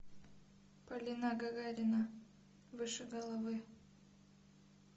полина гагарина выше головы